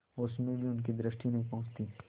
उसमें भी उनकी दृष्टि नहीं पहुँचती